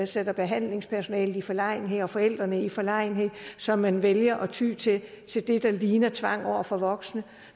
sætter behandlingspersonalet i forlegenhed og forældrene i forlegenhed så man vælger at ty til til det der ligner tvang over for voksne